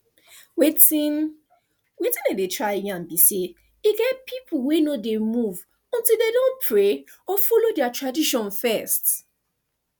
wetin wetin i dey try yarn be say e get people wey no dey move until dem don pray or follow their tradition first